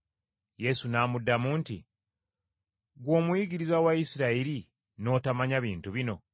Yesu n’amuddamu nti, “Ggwe omuyigiriza wa Isirayiri, n’otomanya bintu bino?